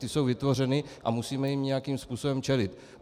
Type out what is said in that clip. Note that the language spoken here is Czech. Ty jsou vytvořeny a musíme jim nějakým způsobem čelit.